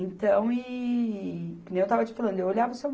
Então, ihh, que nem eu estava te falando, eu olhava o Seu